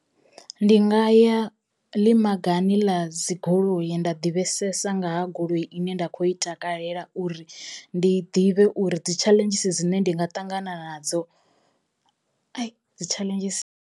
Ndi nga ya ḽi magani ḽa dzigoloi nda ḓivhesesa nga ha goloi ine nda kho i takalela uri ndi ḓivhe uri dzi tshaḽenzhisi dzine ndi nga ṱangana nadzo dzi tshaḽenzhisi.